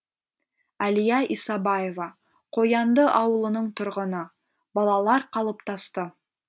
әлия исабаева қоянды ауылының тұрғыны балалар қалыптасты